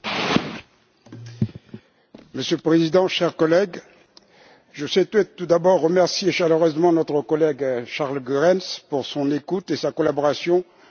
Monsieur le Président, chers collègues, je souhaiterais tout d'abord remercier chaleureusement notre collègue Charles Goerens pour son écoute et sa collaboration lors de l'élaboration de ce rapport.